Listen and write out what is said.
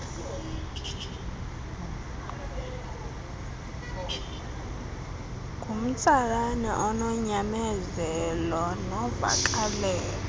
ngumtsalane ononyamezelo novakalelo